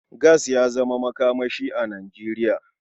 Gas ya zama makamashi a Nijeriya.